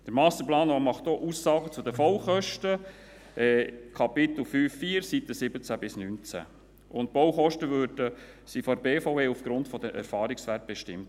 Der Masterplan macht auch Aussagen zu den Baukosten in Kapitel 5.4, Seiten 17–19, und die Baukosten wurden von der BVE aufgrund von Erfahrungswerten bestimmt.